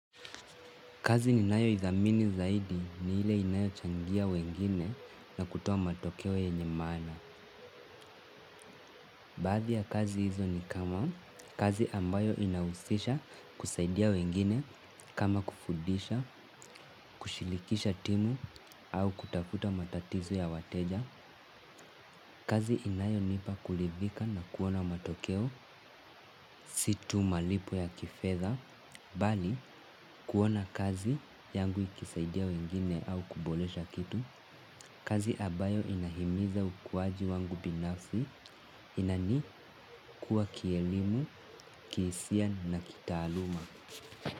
Kazi ni nayo idhamini zaidi ni ile inayo changia wengine na kutoa matokeo yenye maana. Baadhi ya kazi hizo ni kama kazi ambayo inahusisha kusaidia wengine kama kufudisha, kushirikisha timu au kutafuta matatizo ya wateja. Kazi inayo nipa kuridhika na kuona matokeo situ malipo ya kifedha, bali kuona kazi yangu ikisaidia wengine au kuboresha kitu. Kazi ambayo inahimiza ukuwaji wangu binafsi inani kuwa kielimu, kihisia na kitaaluma.